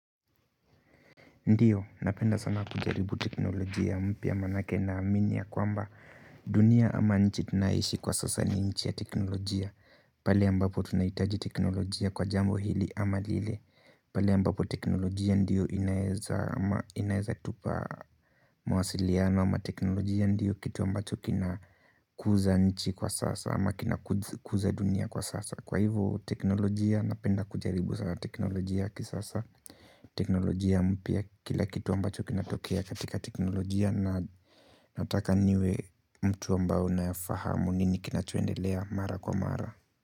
Ndiyo, napenda sana kujaribu teknolojia mpya manake naamini ya kwamba dunia ama nchi tunaishi kwa sasa ni nchi ya teknolojia pale ambapo tunaihitaji teknolojia kwa jambo hili ama lile pale ambapo teknolojia ndiyo inaeza inaeza tupa mawasiliano ama teknolojia ndiyo kitu ambacho kina kuza nchi kwa sasa ama kina kuza dunia kwa sasa kwa hivyo teknolojia napenda kujaribu sana teknolojia kisasa. Teknolojia mpya kila kitu ambacho kinatokea katika teknolojia na nataka niwe mtu ambao nafahamu nini kinachoendelea mara kwa mara.